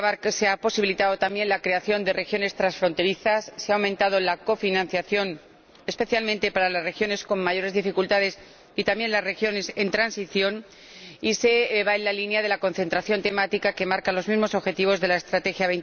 Se ha posibilitado también la creación de regiones transfronterizas se ha aumentado la cofinanciación, especialmente para las regiones con mayores dificultades y también para las regiones en transición, y se va en la línea de la concentración temática que marcan los mismos objetivos de la Estrategia